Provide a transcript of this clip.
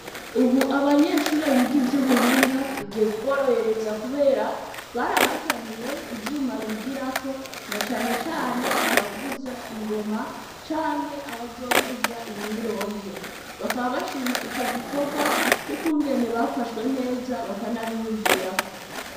Ubu abanyeshure biga ivy'ubuhinga, bigiye kuborohereza kubera, barabazaniye ivyuma bigirako, nacane cane qbavuza ingoma canke abavuza imyironge, bakaba bashima ico gikorwa c'ukungene bafashwe neza, bakanabiyumvirako.